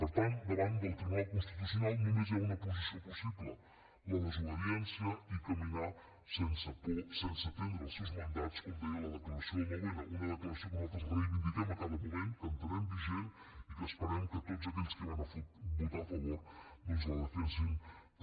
per tant davant del tribunal constitucional només hi ha una posició possible la desobediència i caminar sense por sense atendre els seus mandats com deia la declaració del nou n una declaració que nosaltres reivindiquem a cada moment que entenem vigent i que esperem que tots aquells que hi van votar a favor doncs la defensin també